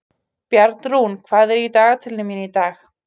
Bjarnrún, hvað er í dagatalinu mínu í dag?